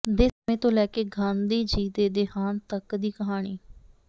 ਦੇ ਸਮੇਂ ਤੋਂ ਲੈ ਕੇ ਗਾਂਧੀ ਜੀ ਦੇ ਦੇਹਾਂਤ ਤਕ ਦੀ ਕਹਾਣੀ